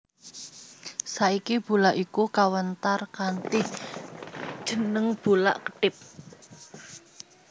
Saiki bulak iku kawentar kanthi jeneng Bulak Kethip